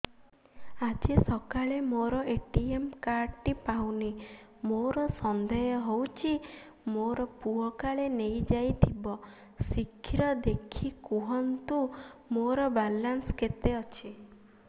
ଆଜି ସକାଳେ ମୋର ଏ.ଟି.ଏମ୍ କାର୍ଡ ଟି ପାଉନି ମୋର ସନ୍ଦେହ ହଉଚି ମୋ ପୁଅ କାଳେ ନେଇଯାଇଥିବ ଶୀଘ୍ର ଦେଖି କୁହନ୍ତୁ ମୋର ବାଲାନ୍ସ କେତେ ଅଛି